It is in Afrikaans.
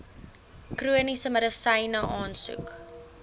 chroniese medisyne aansoek